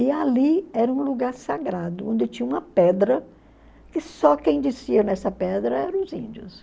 E ali era um lugar sagrado, onde tinha uma pedra, e só quem descia nessa pedra eram os índios.